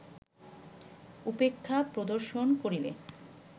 উপেক্ষা প্রদর্শন করিলে